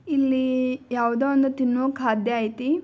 ಇಲ್ಲಿ ಯಾವುದೊ ಒಂದು ತಿನ್ನೋ ಖಾದ್ಯ ಐತಿ.